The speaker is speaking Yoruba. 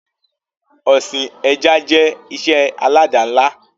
Ọsìn ẹja jẹ́ ìṣe alada ńlá